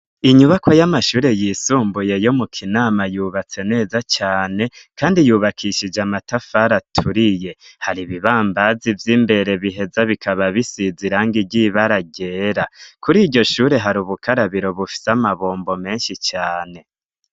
inyubako y'amashure yisumbuye yo mu kinama yubatse neza cane, kandi yubakishije amatafari aturiye. hari ibibambazi vy'imbere biheza bikaba bisizirange ry'ibara ryera. kuri iryo shure hari ubukarabiro bufise amabombo menshi cane.